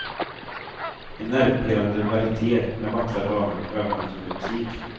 En nervpirrande varite med vackra damer och övernaturlig musik.